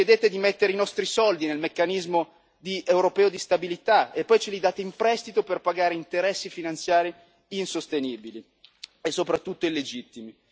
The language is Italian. Ci chiedete di mettere i nostri soldi nel Meccanismo europeo di stabilità e poi ce li date in prestito per pagare interessi finanziari insostenibili e soprattutto illegittimi.